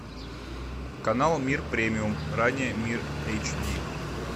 канал мир премиум ранее мир эйч ди